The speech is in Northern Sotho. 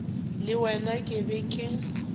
le wena ke be ke